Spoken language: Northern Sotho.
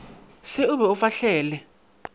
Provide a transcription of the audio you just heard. se o be o fahlele